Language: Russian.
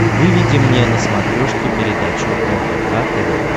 выведи мне на смотрешке передачу рбк тв